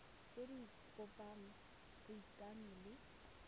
tse di bopang boikanyo le